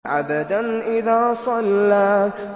عَبْدًا إِذَا صَلَّىٰ